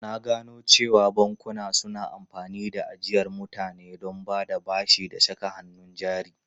Na gano cewa bankuna suna amfani da ajiyar mutane don bada bashi da saka hannun jari.